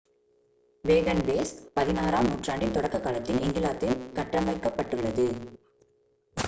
wagonways 16-ஆம் நூற்றாண்டின் தொடக்க காலத்தில் இங்கிலாந்தில் கட்டமைக்கப்பட்டுள்ளது